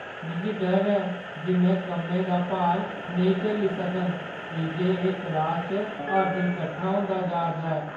मिगी डर ऐ जे में कम्मै दा भार नेईं झल्ली सकङ की जे एह् क्लासा च हर दिन कट्ठा होंदा जा'रदा ऐ।